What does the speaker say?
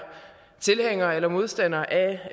tilhænger eller modstander af